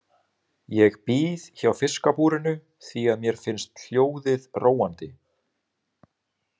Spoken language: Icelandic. Ég bíð hjá fiskabúrinu því að mér finnst hljóðið róandi.